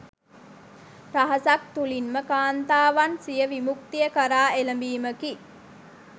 රහසක් තුළින්ම කාන්තාවන් සිය විමුක්තිය කරා එළඹීමකි.